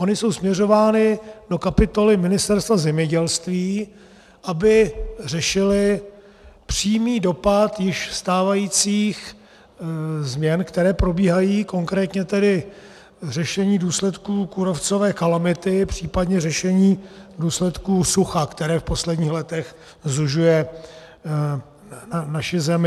Ony jsou směřovány do kapitoly Ministerstva zemědělství, aby řešily přímý dopad již stávajících změn, které probíhají, konkrétně tedy řešení důsledků kůrovcové kalamity, případně řešení důsledků sucha, které v posledních letech sužuje naši zemi.